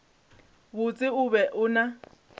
botse o be o na